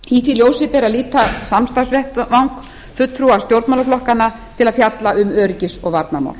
í því ljósi ber að líta á samstarfsvettvang fulltrúa stjórnmálaflokkanna til að fjalla um öryggis og varnarmál